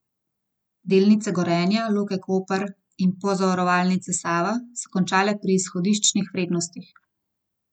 Delnice Gorenja, Luke Koper in Pozavarovalnice Sava so končale pri izhodiščnih vrednostih.